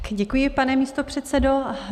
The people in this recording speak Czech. Děkuji, pane místopředsedo.